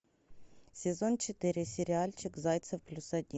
сезон четыре сериальчик зайцев плюс один